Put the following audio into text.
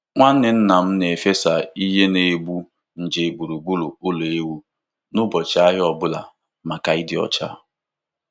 Nwanne nna m na-efesa ihe na-egbu nje gburugburu ụlọ ewu n'ụbọchị ahịa ọ bụla maka ịdị ọcha.